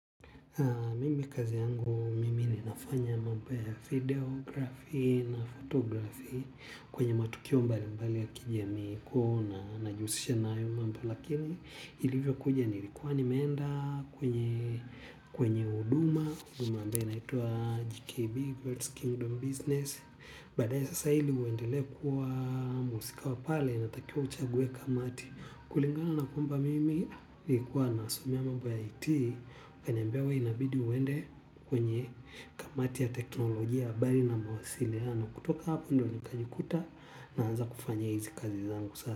Mimi kazi yangu mimi ninafanya mambo ya videografi na fotografi kwenye matukio mbali mbali ya kijamii ku na najiusisha naayu mambo lakini ilivyo kuja nilikuwa nimeenda kwenye kwenye uduma uduma naituwa GKB World's Kingdom Business. Badae sasa hili uendele kuwa muusika wa pale inatakia uchague kamati kulingana na kumba mimi ikuwa nasomea mambo ya iti kanyambewe inabidi uende kwenye kamati ya teknolojia bari na mawasili ya na kutoka hapa ndo ni kajikuta naanza kufanya hizi kazi zangu sasa.